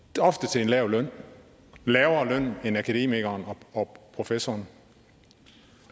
til en lav løn lavere end akademikerens og professorens